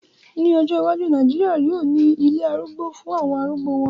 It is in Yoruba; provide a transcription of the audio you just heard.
Ní ọjọ́ iwájú, Nàìjíríà náà yóò ní ilé arúgbó fún àwọn arúgbó wọn